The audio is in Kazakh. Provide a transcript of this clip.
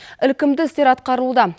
ілкімді істер атқарылуда